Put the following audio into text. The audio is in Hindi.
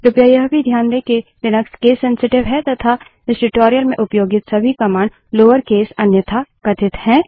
कृपया यह भी ध्यान दें कि लिनक्स केस सेंसिटिव है तथा इस ट्यूटोरियल में उपयोगित सभी कमांड लोअर केस अन्यथा कथित हैं